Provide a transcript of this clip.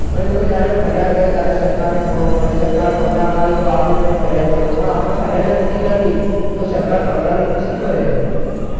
એ લોકો જયારે ફરિયાદ કરે ત્યારે સરકારને ખબર પડે છે સરકાર પગલાં ના લે તો આગળ તમે ફરિયાદ કરો પણ આપણે ફરિયાદ જ નથી કરવી, તો સરકાર પગલાં લઈને ભી શું કરે